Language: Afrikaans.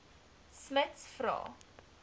smuts vra